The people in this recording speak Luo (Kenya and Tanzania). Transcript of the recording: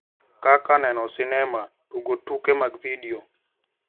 Kaka neno sinema, tugo tuke mag vidiyo,